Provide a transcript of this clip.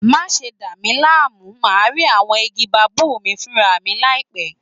Má ṣe dà mí láàmú, màá rí àwọn igi baobab mi fúnra mi láìpẹ́!